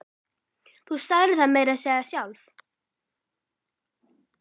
Þú sagðir það meira að segja sjálf!